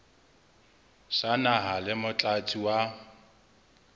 sa naha le motlatsi wa